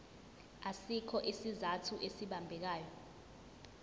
asikho isizathu esibambekayo